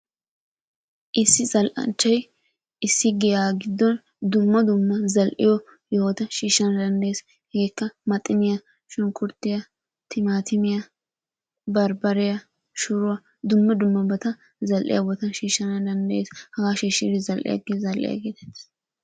Issi zal'anchchaay Issi giya giddon dumma dumma zal'iyo yohota shishana danddayees. Hegeekka maxiniya shunkkurttiya, timaatimiya, barbbariya, shuruwa dumma dummabata za'iya bootaa shishana danddayees. Hagaa shiishidi zal'iyagee zal'iya gettettees.